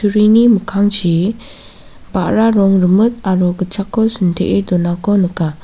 mikkangchi ba·ra rong rimit aro gitchakko sintee donako nika.